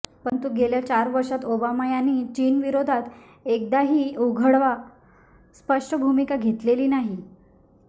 परंतु गेल्या चार वर्षात ओबामा यांनी चीनविरोधात एकदाही उघड वा स्पष्ट भूमिका घेतलेली नाही